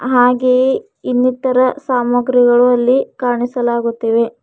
ಹಾಗೆಯೇ ಇನ್ನಿತರ ಸಾಮಗ್ರಿಗಳು ಇಲ್ಲಿ ಕಾಣಿಸಲಾಗುತ್ತಿವೆ.